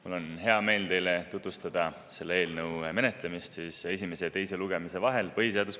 Mul on hea meel teile tutvustada selle eelnõu põhiseaduskomisjonis menetlemist esimese ja teise lugemise vahel.